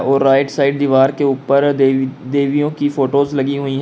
और right side दीवार के ऊपर देवी देवियों की फोटोज लगी हुई है।